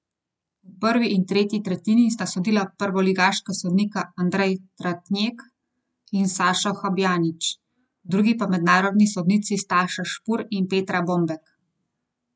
V prvi in tretji tretjini sta sodila prvoligaška sodnika Andrej Tratnjek in Sašo Habjanič, v drugi pa mednarodni sodnici Staša Špur in Petra Bombek.